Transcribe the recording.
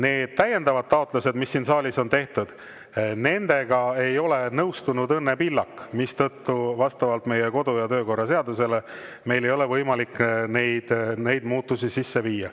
Nende täiendavate taotlustega, mis siin saalis on tehtud, ei ole nõustunud Õnne Pillak, mistõttu vastavalt meie kodu‑ ja töökorra seadusele meil ei ole võimalik neid muudatusi sisse viia.